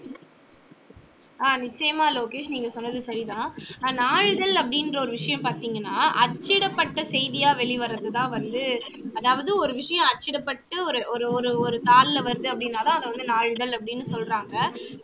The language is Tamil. ஆஹ் நிச்சயமா லோகேஷ் நீங்க சொன்னது சரிதான் அஹ் நாளிதழ் அப்படின்ற ஒரு விஷயம் பாத்தீங்கனா அச்சிடப்பட்ட செய்தியா வெளிவர்றது தான் வந்து அதவாது ஒரு விஷயம் அச்சிடப்பட்டு ஒரு ஒரு ஒரு தாளில வருது அப்படினாதான் அதை வந்து நாளிதழ் அப்படின்னு சொல்றாங்க